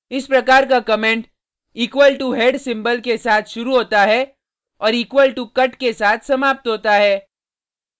इस प्रकार का comment equal to head symbol के साथ शुरू होता है और equal to cut के साथ समाप्त होता है